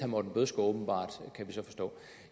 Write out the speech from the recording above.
morten bødskov åbenbart kan vi så forstå